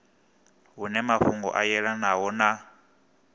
hune mafhungo a yelanaho na